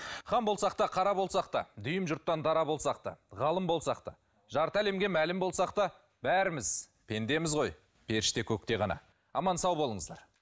хан болсақ та қара болсақ та дүйім жұрттан дара болсақ та ғалым болсақ та жарты әлемге мәлім болсақ та бәріміз пендеміз ғой періште көкте ғана аман сау болыңыздар